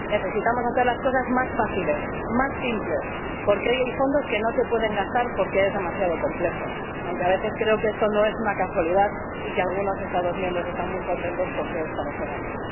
Necesitamos hacer las cosas más fáciles, más simples, porque hoy hay fondos que no se pueden gastar porque es demasiado complejo, aunque a veces creo que esto no es una casualidad y que algunos Estados miembros están muy contentos con que esto no se gaste.